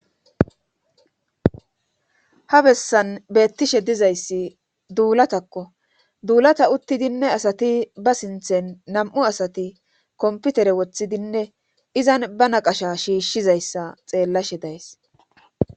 ha bessan beettishe dizayssi duulatakko duulata uttidinne asati ba sinthen nam7u asati komputere wothidinne izan ba naqasha shiishshizayssa xeellashe days